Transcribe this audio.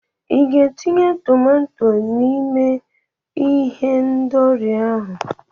I ga-etinye tomato n'ime ihendori ahụ?